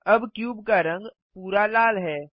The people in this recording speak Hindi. अब क्यूब का रंग पूरा लाल है